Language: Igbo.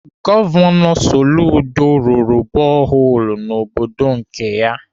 Gọvanọ Soludo rụrụ boholu n'obodo nke ya.